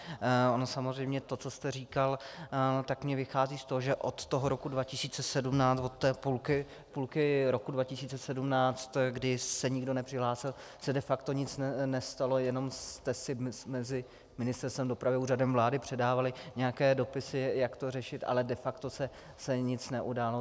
Ono samozřejmě to, co jste říkal, tak mně vychází z toho, že od toho roku 2017, od té půlky roku 2017, kdy se nikdo nepřihlásil, se de facto nic nestalo, jenom jste si mezi Ministerstvem dopravy a Úřadem vlády předávali nějaké dopisy, jak to řešit, ale de facto se nic neudálo.